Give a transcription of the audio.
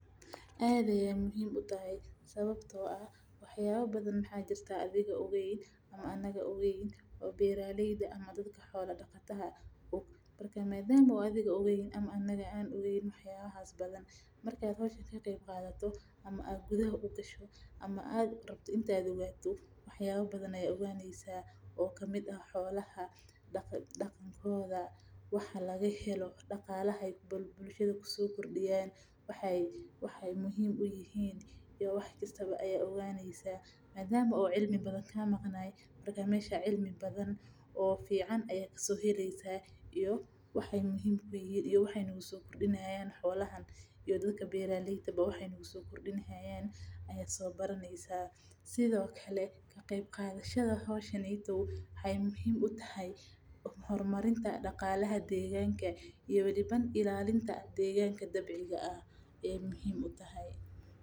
Aad ayeey muhiim utahay sababta oo ah wax yaaba waxaa jiraan oo aan aniga ogeen adhigana ogeen lakin marki aad gudaha ugasho ayaad oganeysa xolaha waxeey muhiim uyihiin iyo waxeey nagu soo kordini haayan ayaa soo baraneysa waxeey muhiim utahay hor marinta daqalaha deeganka iyo weli xaqiijinta deeganka dabciga ah.